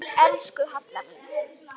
Elsku Halla mín.